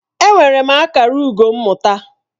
Enwere m akara ugo mmụta.